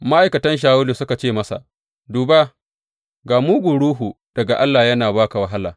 Ma’aikatan Shawulu suka ce masa, Duba, ga mugun ruhu daga Allah yana ba ka wahala.